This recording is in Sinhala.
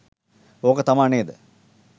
ඕක තමා නේද?